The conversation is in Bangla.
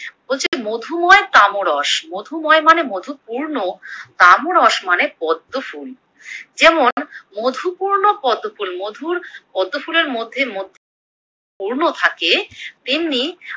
বলছে মধুময় তামরস, মধুময় মানে মধুপূর্ণ, তামারস মানে পদ্মফুল। যেমন মধুপূর্ণ পদ্মফুল মধুর পদ্মফুলের মধ্যে মধু পূর্ণ থাকে তেমনি